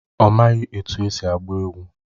Ọ maghị etu esi agba egwu.